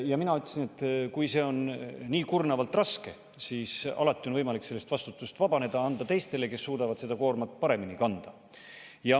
Ja mina ütlesin, et kui see on nii kurnavalt raske, siis alati on võimalik sellest vastutusest vabaneda, anda teistele, kes suudavad seda koormat paremini kanda.